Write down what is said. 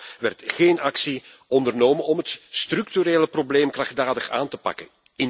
Toch werd geen actie ondernomen om het structurele probleem krachtdadig aan te pakken.